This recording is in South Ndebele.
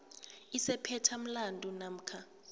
esiphethe umlandu namkha